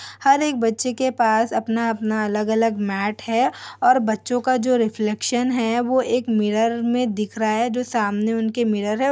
हर एक बच्चे के पास अपना अपना अलग-अलग मैट है और बच्चों का जो रिफ्लेक्शन है वो एक मिरर में दिख रहा है जो सामने उनके मिरर है।